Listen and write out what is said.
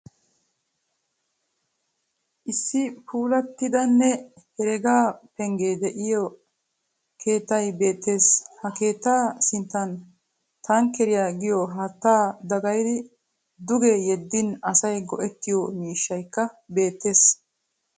Issi puulattidanne heregaa penggee diyo keettay beettes. Ha keettaa sinttan tankkeriya giyo haattaa dagayidi duge yeddin asay go'ettiyo miishshayikka beettes.